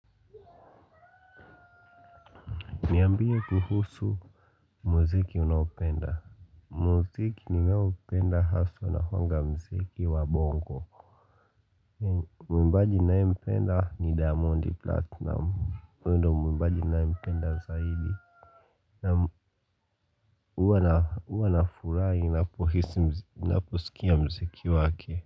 Niambie kuhusu muziki unaopenda. Muziki ninaopenda haswa inakuwanga muziki wa bongo. Mwimbaji ninayempenda ni Diamond Platnumz, hyo ndio mwimbaji ninayempenda zaidi. Naam, huwa nafurahi ninapohisi ninaposikia muziki wake.